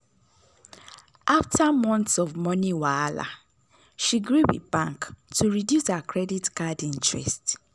after months of money wahala she gree with bank to reduce her credit card interest.